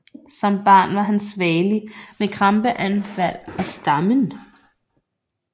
Som barn var han svagelig med krampeanfald og stammen